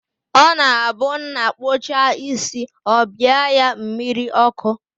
Ọ na-abụ nna kpuchaa isi, ọ bịa ya mmiri ọkụ